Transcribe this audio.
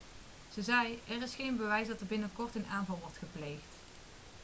ze zei er is geen bewijs dat er een binnenkort een aanval wordt gepleegd